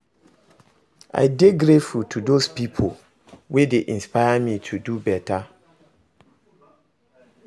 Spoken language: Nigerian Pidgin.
I dey grateful to dose pipo wey dey inspire me to dey beta